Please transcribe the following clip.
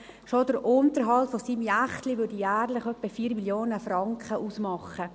Schon der Unterhalt seines Jächtleins mache jährlich etwa 4 Mio. Franken aus.